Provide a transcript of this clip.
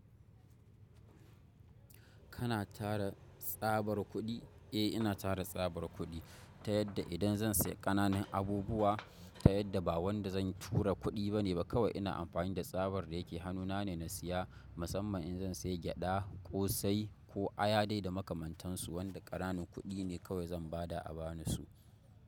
Kana tara tsabar kuɗi? Eh ina tara tsabar kuɗi ta yadda idan zan siya ƙananan abubuwa ta yadda ba wanda zan tura kuɗi bane ba kawa ina amfani da tsabar da yake hannuna ne na siya musamman in zan siya gyaɗa, ƙosai ko aya dai da makamantansu wanda ƙananan kuɗi ne kawai zan bada a bani su.